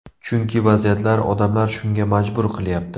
Chunki vaziyatlar, odamlar shunga majbur qilyapti.